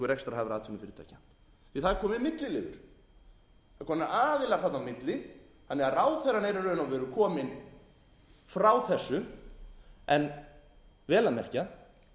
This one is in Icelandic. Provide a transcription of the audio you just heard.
rekstrarhæfra atvinnufyrirtækja það er kominn milliliður að eru komnir aðilar þarna á milli þannig að ráðherrann er í raun og veru kominn frá þessu vel að merkja